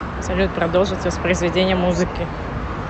салют продолжить воспроизведение музыки